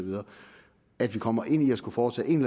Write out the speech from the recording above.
at vi kommer ind i at skulle foretage en